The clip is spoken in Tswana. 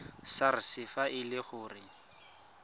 sars fa e le gore